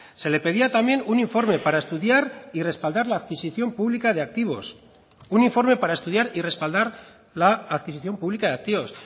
se le pedía también un informe para estudiar y respaldar la adquisición publica de activos un informe para estudiar y respaldar la adquisición publica de activos